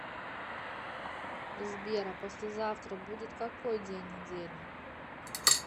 сбер а послезавтра будет какой день недели